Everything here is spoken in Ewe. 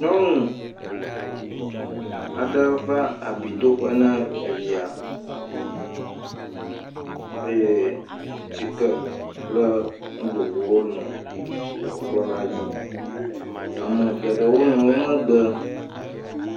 Nyɔnu aɖe va abi do ƒe nae via eye tsike kple nu vovovowo nɔ ekplɔ ala di. Ame geɖewo nɔ wo megbe.